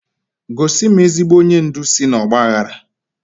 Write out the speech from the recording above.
Gosi m ezigbo onye ndu si n'ọgba aghara!